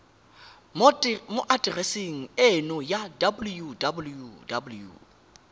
mo atereseng eno ya www